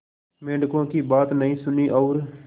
मेंढकों की बात नहीं सुनी और